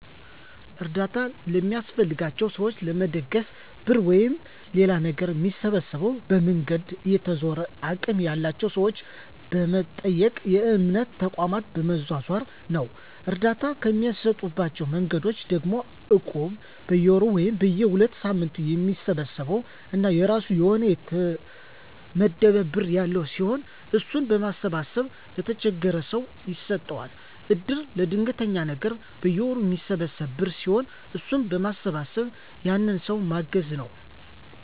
አርዳታ ለሚያስፈልጋቸው ሰዎችን ለመደገፍ ብር ወይም ሌላ ነገር ሚሰበሰበው፦ በመንገድ እየተዞረ፣ አቅም ያላቸው ሰዎችን በመጠየቅ፣ በእምነት ተቋማት በመዟዟር ነው። እርዳታ እሚሰጡባቸው መንገዶች ደግሞ እቁብ፦ በየወሩ ወይም በየ ሁለት ሳምንቱ የሚሰበሰብ እና የራሱ የሆነ የተመደበ ብር ያለው ሲሆን እሱን በማሰባሰብ ለተቸገረው ሰው ይሰጠዋል። እድር፦ ለድንገተኛ ነገር በየወሩ ሚሰበሰብ ብር ሲሆን እሱን በመሰብሰብ ያንን ሰው ማገዝ ነው።